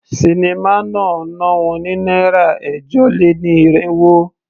Sinimá náà ná wọn ní náírà ẹ̀jọ-lé-ní-irínwó.